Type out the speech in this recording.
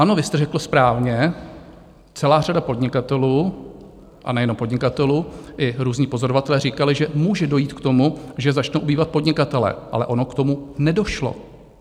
Ano, vy jste řekl správně, celá řada podnikatelů a nejenom podnikatelů i různí pozorovatelé říkali, že může dojít k tomu, že začnou ubývat podnikatelé, ale ono k tomu nedošlo.